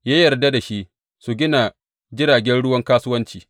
Ya yarda da shi su gina jiragen ruwan kasuwanci.